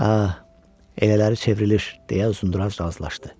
Hə, elələri çevrilir, – deyə Uzunduraç razılaşdı.